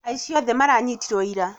Aici othe maranyitirwo ira